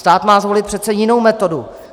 Stát má zvolit přece jinou metodu.